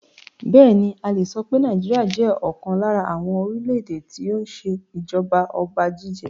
Bẹẹni, a le so pé Nigeria jẹ́ ọ̀kan lára àwọn orílè èdè tó ń ṣe ìjọba ọba jíjẹ.